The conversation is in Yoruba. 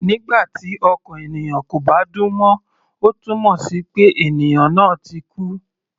Nígbà tí ọkàn ènìyàn kò bá dún mọ́, ó túmọ̀ sí pé ènìyàn náà ti kú.